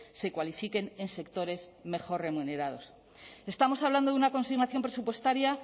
se cualifiquen en sectores mejor remunerados estamos hablando de una consignación presupuestaria